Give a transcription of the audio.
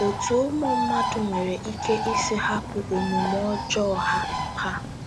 Otú ụmụ mmadụ nwere ike isi hapụ omume ọjọọ ha ha.